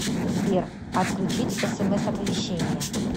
сбер отключить смс оповещения